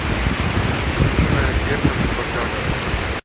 людмилой альбертовной богдановой